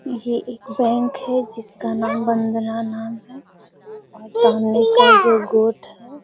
ये एक बैंक है जिसका नाम है और सामने गोट है।